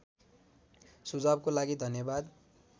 सुझावको लागि धन्यवाद